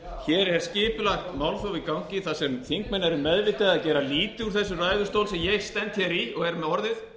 hér er skipulagt málþóf í gangi þar sem þingmenn eru meðvitaðir að gera lítið úr þessum ræðustól sem ég stend í og er með orðið